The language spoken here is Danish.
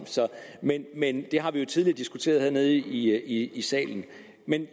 men det har vi jo tidligere diskuteret hernede i salen